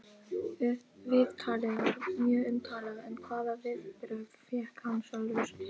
Viðtalið var mjög umtalað en hvaða viðbrögð fékk hann sjálfur?